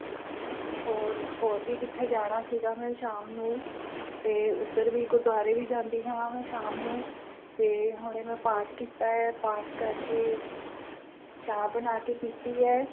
ਹੋਰ ਹੋਰ ਵੀ ਕਿਥੇ ਜਾਣਾ ਸੀਗਾ ਮੈਨੂੰ ਸ਼ਾਮ ਨੂੰ ਤੇ ਉਧਰ ਵੀ ਗੁਰਦਵਾਰੇ ਵੀ ਜਾਂਦੀ ਹੈ ਮੈਂ ਸ਼ਾਮ ਨੂੰ ਤੇ ਹਲੇ ਮੈਂ ਪਾਠ ਕੀਤਾ ਹੈ ਪਾਠ ਕਰਕੇ ਚਾਹ ਬਣਾ ਕੇ ਪੀਤੀ ਹੈ